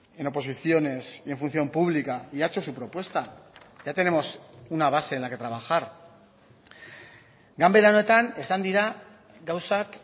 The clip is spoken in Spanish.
en oposiciones y en función pública y ha hecho su propuesta ya tenemos una base en la que trabajar ganbera honetan esan dira gauzak